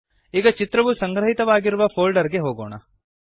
ಈಗ ಚಿತ್ರವು ಸಂಗ್ರಹಿತವಾಗಿರುವ ಫೋಲ್ಡರ್ ಗೆ ಹೋಗೋಣ